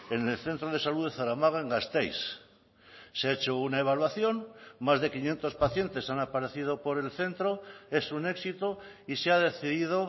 en el centro de salud de zaramaga en gasteiz se ha hecho una evaluación más de quinientos pacientes han aparecido por el centro es un éxito y se ha decidido